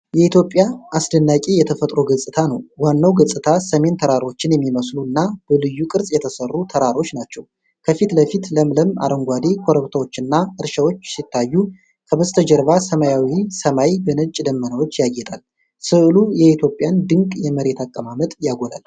የኢትዮጵያ አስደናቂ የተፈጥሮ ገጽታ ነው። ዋናው ገጽታ ሰሚን ተራሮችን የሚመስሉ እና በልዩ ቅርጽ የተሰሩ ተራሮች ናቸው ከፊት ለፊት ለምለም አረንጓዴ ኮረብታዎች እና እርሻዎች ሲታዩ፣ ከበስተጀርባ ሰማያዊው ሰማይ በነጭ ደመናዎች ያጌጣል። ሥዕሉ የኢትዮጵያን ድንቅ የመሬት አቀማመጥ ያጎላል።